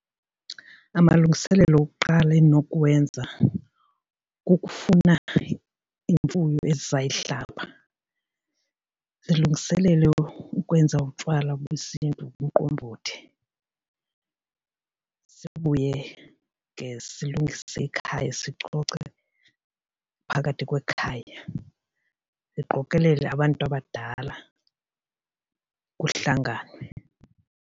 Amalungiselelo okuqala endinokuwenza kukufuna imfuyo esizayihlaba, silungiselele ukwenza utywala besiNtu umqombothi. Sibuye ke silungise ekhaya sicoce phakathi kwekhaya ndiqokelele abantu abadala kuhlanganwe.